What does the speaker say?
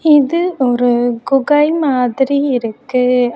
இது ஒரு குகை மாதிரி இருக்கு.